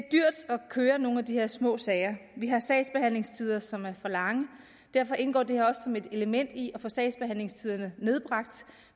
køre nogle af de her små sager vi har sagsbehandlingstider som er for lange derfor indgår det her også som et element i at få sagsbehandlingstiderne nedbragt